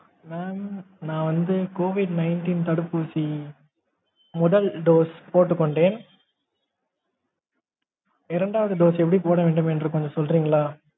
mam நான் வந்து COVID nineteen தடுப்பூசி முதல் dose போட்டுக்கொண்டேன் இரண்டாவது dose எப்படி போடனும்க்ரத கொஞ்சம் சொல்றிங்களா?